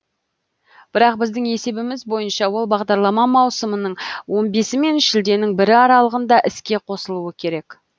бірақ біздің есебіміз бойынша ол бағдарлама маусымның он бесі мен шілденің бірі аралығында іске қосылуы керек